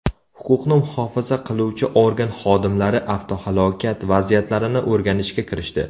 Huquqni muhofaza qiluvchi organ xodimlari avtohalokat vaziyatlarini o‘rganishga kirishdi.